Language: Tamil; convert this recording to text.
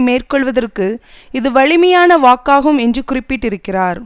மேற்கொள்வதற்கு இது வலிமையான வாக்காகும் என்று குறிப்பிட்டிருக்கிறார்